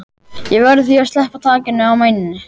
Ég verð því að sleppa takinu á mæninum.